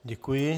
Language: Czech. Děkuji.